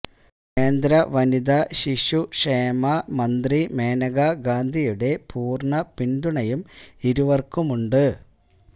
കേന്ദ്ര വനിതാ ശിശു ക്ഷേമ മന്ത്രി മനേകാ ഗാന്ധിയുടെ പൂര്ണ്ണ പിന്തുണയും ഇരുവര്ക്കുമുണ്ട്